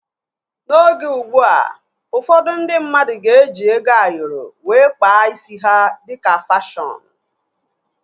N'oge ugbua, ụfọdụ ndị mmadụ ga-eji ego Ayoro wee kpaa isi ha dịka fashọnu